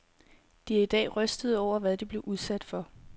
De er i dag rystede over, hvad de blev udsat for.